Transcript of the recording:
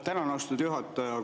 Tänan, austatud juhataja!